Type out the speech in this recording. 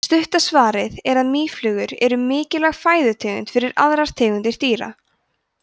stutta svarið er að mýflugur eru mikilvæg fæðutegund fyrir aðrar tegundir dýra